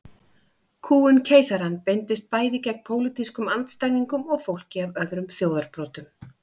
Kúgun keisarans beindist bæði gegn pólitískum andstæðingum og fólki af öðrum þjóðarbrotum.